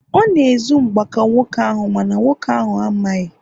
ọ na-ezu mgbaaka nwoke ahụ- mana nwoke ahụ amaghị